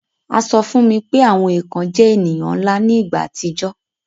A sọ fún mi pé àwọn èkàn jẹ èniyàn nla ni ìgbà àtijọ́